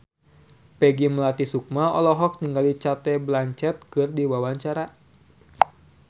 Peggy Melati Sukma olohok ningali Cate Blanchett keur diwawancara